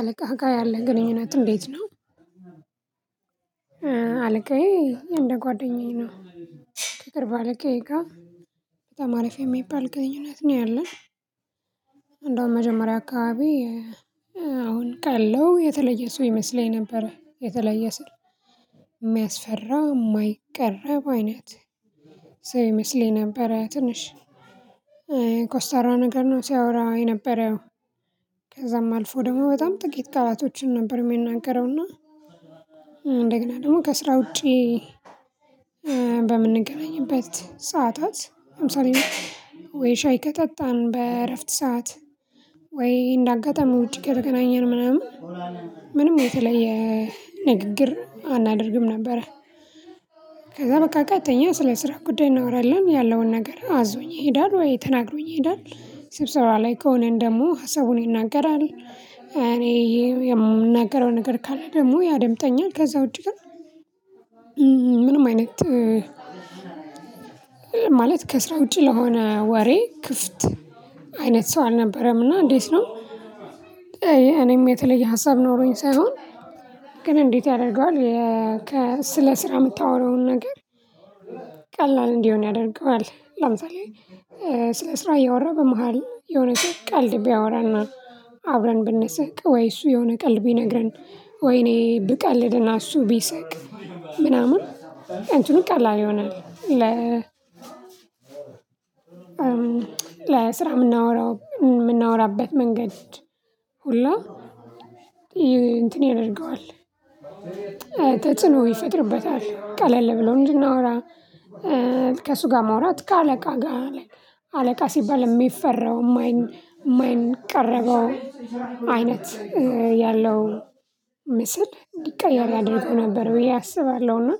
አለቃ ጋ ያለ ግንኙነት እንዴት ነው? አለቃዬ እንደ ጓደኛዬ ነው። ከቅርብ አለቃዬ ጋ በጣም አሪፍ የሚባል ግንኙነት ነው ያለን። እንደውም መጀመሪያ አከባቢ አሁን አዉቃለው የተለየ ሰው ይመስለኝ ነበረ የተለየ ስል የሚያስፈራ የማይቀረብ አይነት ሰው ይመስለኝ ነበረ ትንሽ ኮስታራ ነገር ነው ሲያወራ የነበረው ከዛም አልፎ ደግሞ በጣም ጥቂት ቃላቶችን ነበር የሚናገረው እና እንደገና ደግሞ ከስራ ውጪ በምንገናኝበት ሰዓታት ለምሳሌ ወይ ሻይ ከጠጣን በእረፍት ሰዓት ወይ እንደ አጋጣሚ ውጪ ከተገናኘን ምናምን ምንም የተለየ ንግግር አናደርግም ነበረ። ከዛ በቃ ቀጥተኛ ስለ ስራ ጉዳይ እናወራለን። ያለው ነገር አዞኝ ይሄዳል ወይ ተናግሮኝ ይሄዳል ስብሰባ ላይ ከሆነን ደግሞ ሀሳቡን ይናገራል እኔ የምናገረው ነገር ካለ ደግሞ ያደምጠኛል ከዛ ውጪ ግን ምንም አይነት ማለት ከስራ ውጪ ለሆነ ወሬ ክፍት አይነት ሰው አልነበረም እና እንዴት ነው እኔም የተለየ ሀሳብ ኖሮኝ ሳይሆን ግን እንዴት ያደርጋል ስለ ስራ የምታወራውን ነገር ቀላል እንዲሆን ያደርገዋል ለምሳሌ ስለ ስራ እያወራ በመሃል የሆነ ሰው ቀልድ ብያወራና አብረን ብንስቅ ወይ እሱ የሆነ ቀልድ ብነግረን ወይ እኔ ብቀልድና እሱ ብስቅ ምናምን አንቺንም ቀላል ይሆናል ለ ለስራ የምናወራው የምናወራበት መንገድ ሁላ እንትን ያደርገዋል። ተጽኖ ይፈጥርበታል ቀለል ብሎ እንድናወራ ከእሱ ጋ ማውራት ከአለቃ ጋ አለቃ ሲባል የሚፈራው የማይቀረበው አይነት ያለው ምስል እንዲቀየር ያደርገው ነበር ብዬ አስባለው እና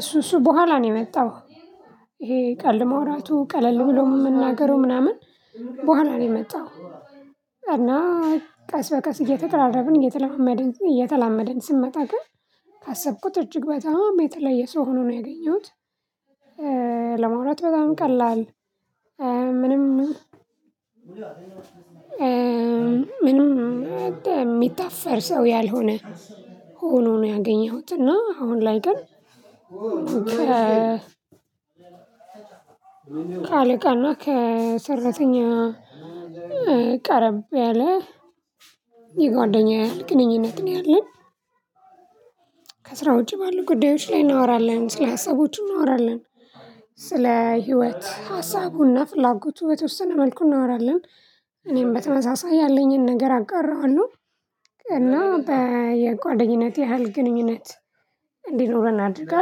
እሱ እሱ ቦኋላ ነው የመጣው ይሄ ቀልድ ማውራቱ ቀለል ብሎ የምናገረው ምናምን ቦኋላ ነው የመጣው እና ቀስ በቀስ እየተቀራረብን እየተላማመድን እየተላመድን ስንመጣ ግን ካሰብኩት እጅግ በጣም የተለየ ሰው ሆኖ ነው ያገኘሁት። ለማውራት በጣም ቀላል ምንም ምንም የሚታፈር ሰው ያልሆነ ሆኖ ነው ያገኘሁት እና አሁን ላይ ግን ከ አለቃ አና ከሰራተኛ ቀረብ ያለ የጓደኛ ያህል ግንኙነት ነው ያለን። ከስራ ውጪ ባሉ ጉዳዮች ላይ እናወራለን ስለ ሀሳቦች እናወራለን። ስለ ህይወት ሀሳቡና ፍላጎቱ በተወሰነ መልኩ እናወራለን። እኔም በተመሳሳይ ያለኝን ነገር አጋራዋለው እና በየጓደኝነት ያህል ግንኙነት እንዲኖረን አድርጋ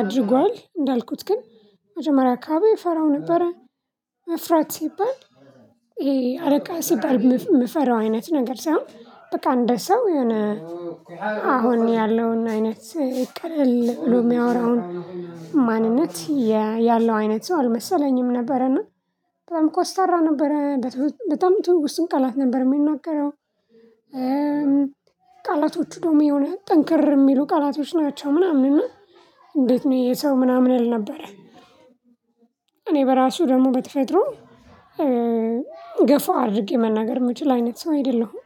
አድርጓል እንዳልኩት ግን መጀመሪያ አከባቢ እፈራው ነበረ። መፍራት ሲባል ይሄ አለቃ ሲባል የምፈራው አይነት ነገር ሳይሆን በቃ እንደ ሰው የሆነ አሁን ያለውን አይነት ፍቅር ለሚያወራውን ማንነት ያለው አይነት ሰው አልመሰለኝም ነበረ እና በጣም ኮስታራ ነበረ በጣም ትውስቱን ቃላት ነበር የሚናገረው ቃላቶቹ ደግሞ የሆነ ጠንከር የሚሉ ቃላቶች ናቸው። ምናምን እና አንዴት ነው የሰው ምናምን ያልነበረ እኔ በራሱ ደግሞ በተፈጥሮ ገፋ አድርጌ መናገር የምችል አይነት ሰው አይደለዉም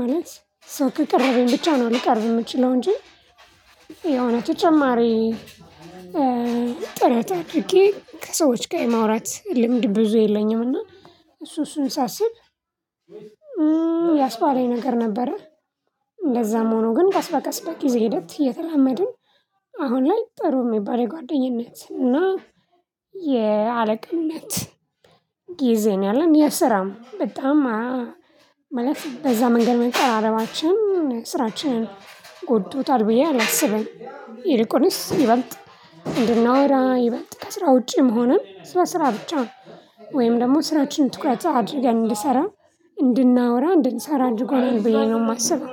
ማለት ሰው ከቀረበኝ ብቻ ነው ሊቀርብ የምችለው እንጂ የሆነ ተጨማሪ ጥረት አድርጌ ከሰዎች ጋር የማውራት ልምድ ብዙ የለኝም እና እሱ እሱን ሳስብ ላስባለኝ ነገር ነበረ እንደዛም ሆኖ ግን ቀስ በቀስ በጊዜ ሂደት እየተላመድን አሁን ላይ ጥሩ የሚባል የጓደኝነት እና የአለቃነት ጊዜን ያለን የስራም በጣም መለፍ በዛ መንገድ መቀራረባችን ስራችንን ጎድቶታል ብዬ አላስብም ይልቁንስ ይበልጥ እንድናወራ ይበልጥ ከስራ ውጪ መሆንን ስራ ስራ ብቻ ነው ወይም ደግሞ ስራችንን ትኩረት አድርገን አንድሰራ እንድናወራ እንድንሰራ እድርጎኛል ብዬ ነው የማስበው።